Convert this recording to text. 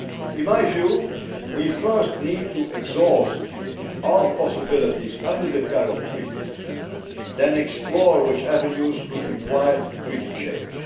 In my view, we first need to exhaust all possibilities under the current treaties, then explore which avenues could require treaty change.